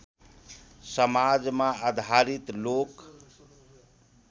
समाजमा आधारित लोक